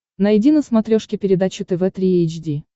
найди на смотрешке передачу тв три эйч ди